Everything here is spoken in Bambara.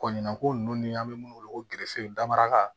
Kɔɲɔnko nunnu ni an be munnu wele ko gerefew daraka